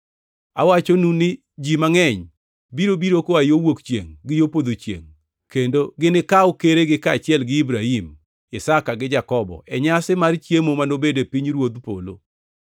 Awachonu ni ji mangʼeny biro biro koa yo wuok chiengʼ gi yo podho chiengʼ kendo ginikaw keregi kaachiel gi Ibrahim, Isaka gi Jakobo e nyasi mar chiemo manobed e pinyruodh polo.